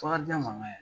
Takajɛ man ka